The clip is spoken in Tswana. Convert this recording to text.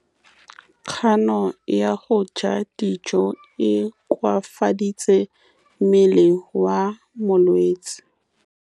Kganô ya go ja dijo e koafaditse mmele wa molwetse.